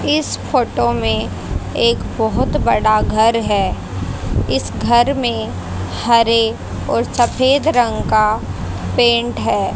इस फोटो में एक बहोत बड़ा घर है इस घर में हरे और सफेद रंग का पेंट है।